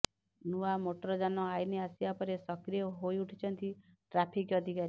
ନୂଆ ମୋଟରଯାନ ଆଇନ ଆସିବା ପରେ ସକ୍ରିୟ ହୋଇଉଠିଛନ୍ତି ଟ୍ରାଫିକ ଅଧିକାରୀ